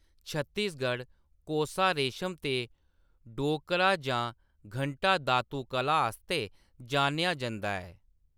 छत्तीसगढ़ "कोसा रेशम" ते "डोकरा जां घंटा-धातु कला" आस्तै जानेआ जंदा ऐ।